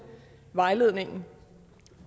vejledningen